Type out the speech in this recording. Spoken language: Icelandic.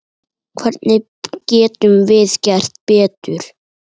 Hvernig getum við gert betur?